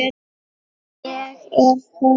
Ég er hörð.